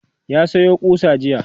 ya Sayo ƙusa jiya